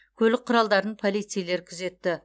көлік құралдарын полицейлер күзетті